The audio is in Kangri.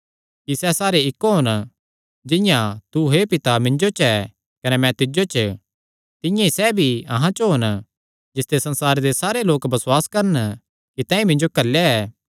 कि सैह़ सारे इक्क होन जिंआं तू हे पिता मिन्जो च ऐ कने मैं तिज्जो च तिंआं ई सैह़ भी अहां च होन जिसते संसारे सारे लोक बसुआस करन कि तैंईं मिन्जो घल्लेया ऐ